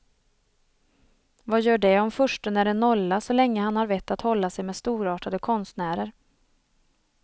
Vad gör det om fursten är en nolla så länge han har vett att hålla sig med storartade konstnärer.